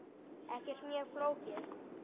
Ekkert mjög flókið.